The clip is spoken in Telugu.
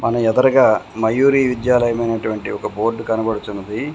న ఎదరగా మయూరీ విద్యాలయమైనటువంటి ఒక బోర్డు కనబడుచున్నది.